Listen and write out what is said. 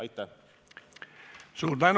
Aitäh!